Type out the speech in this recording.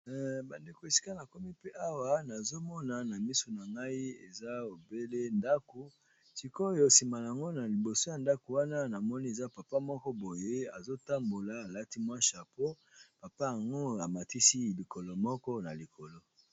Ba ndeko esika nakomi pe awa nazo mona na misu na ngai eza obele ndako, sikoyo nsima nango na liboso ya ndako wana namoni eza papa moko boye azo tambola alati mwa chapeau papa yango amatisi likolo moko na likolo.